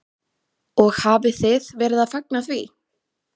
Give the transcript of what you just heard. Og þið hafið verið að fagna því?